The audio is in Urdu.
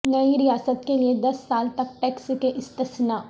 نئی ریاست کے لئے دس سال تک ٹیکس سے استثنا